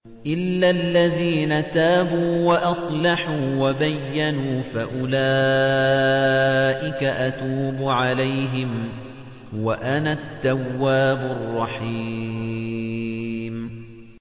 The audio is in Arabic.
إِلَّا الَّذِينَ تَابُوا وَأَصْلَحُوا وَبَيَّنُوا فَأُولَٰئِكَ أَتُوبُ عَلَيْهِمْ ۚ وَأَنَا التَّوَّابُ الرَّحِيمُ